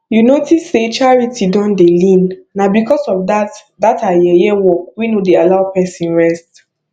you notice say charity don dey lean na because of dat dat her yeye work wey no dey allow person rest